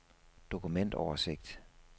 dokumentoversigt